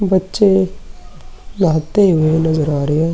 बच्चे नहाते हुए नज़र आ रहे ऐं ।